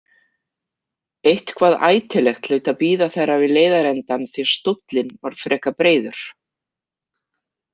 Eitthvað ætilegt hlaut að bíða þeirra við leiðarendann því stóllinn var frekar breiður.